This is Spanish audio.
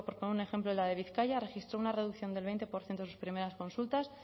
poner un ejemplo la de bizkaia registró una reducción del veinte por ciento en sus primeras consultas